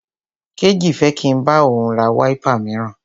Kéjì fẹ́ kí n bá òun ra wáípà míràn.